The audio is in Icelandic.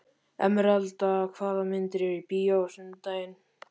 Emeralda, hvaða myndir eru í bíó á sunnudaginn?